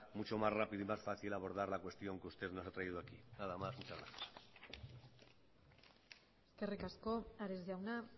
mucho más rápido y más fácil abordar la cuestión que usted nos ha traído aquí nada más muchas gracias eskerrik asko ares jauna